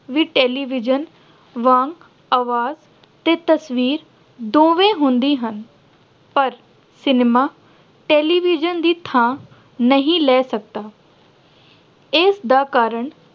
ਵੀ television ਵਾਂਗ ਆਵਾਜ਼ ਤੇ ਤਸਵੀਰ ਦੋਵੇਂ ਹੁੰਦੀਆਂ ਹਨ। ਪਰ cinema television ਦੀ ਥਾਂ ਨਹੀਂ ਲੈ ਸਕਦਾ। ਇਸ ਦਾ ਕਾਰਨ